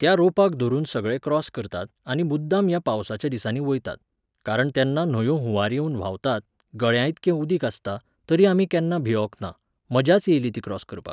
त्या रोपाक धरून सगळे क्रॉस करतात आनी मुद्दाम ह्या पावसाच्या दिसांनी वयतात. कारण तेन्ना न्हंयो हुंवार येवन व्हांवतात, गळ्याइतकें उदीक आसता, तरी आमी केन्ना भियोंक ना, मजाच येयली ती क्रॉस करपाक